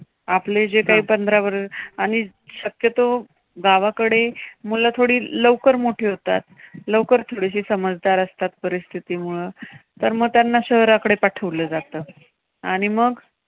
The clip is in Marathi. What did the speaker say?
आपले जे काही पंधरा आणि शक्यतो गावाकडे मुलं थोडी लवकर मोठी होतात. लवकर थोडीशी समजदार असतात परिस्थितीमुळे. तर मग त्यांना शहराकडे पाठवलं जातं. आणि मग